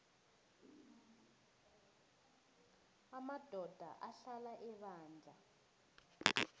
amadoda ahlala ebandla